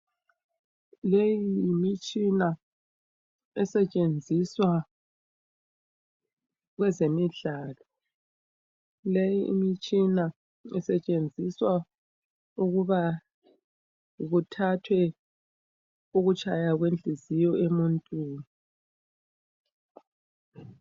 Leyi yimitshina esetshenziswa kwezemidlalo, leyi imitshina isetshenziswa ukubana ithathe ukutshaya kwenhliziyo emuntwini